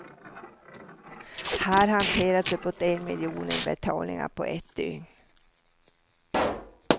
Här hanteras uppåt en miljon inbetalningar på ett dygn.